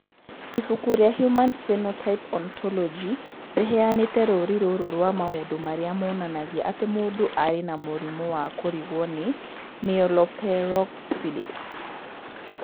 Ibuku rĩa Human Phenotype Ontology rĩheanĩte rũũri rũrũ rwa maũndũ marĩa monanagia atĩ mũndũ arĩ na mũrimũ wa kũrigwo nĩ Myeloperoxidase.